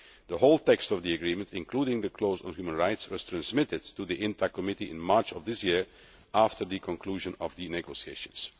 The whole text of the agreement, including the clause on human rights, was transmitted to the INTA Committee in March of this year after the conclusion of the negotiations.